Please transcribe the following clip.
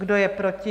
Kdo je proti?